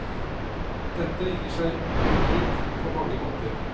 Dette gir seg uttrykk på mange måter.